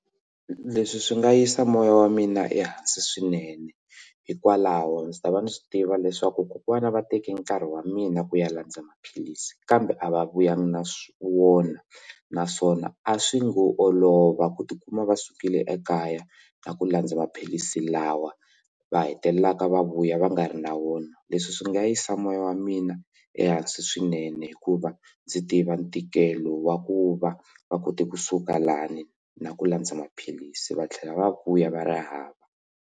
Leswi swi nga yisa moya wa mina ehansi swinene hikwalaho ndzi ta va ndzi swi tiva leswaku kokwana va teke nkarhi wa mina ku ya landza maphilisi kambe a va vuya na wona naswona a swi ngo olova ku tikuma va sukile ekaya na ku landza maphilisi lawa va hetelelaka va vuya va nga ri na wona leswi swi nga yisa moya wa mina ehansi swinene hikuva ndzi tiva ntikelo wa ku va va kote kusuka lani na ku landza maphilisi va tlhela va vuya va ri hava.